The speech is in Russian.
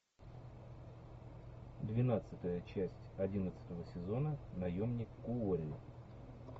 двенадцатая часть одиннадцатого сезона наемник куорри